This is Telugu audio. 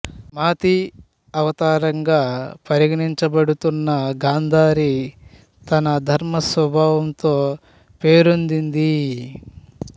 మాతి అవతారంగా పరిగణించబడుతున్న గాంధారి తన ధర్మ స్వభావంతో పేరొందింది